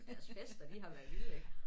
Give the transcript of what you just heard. Deres fester de har været vilde ik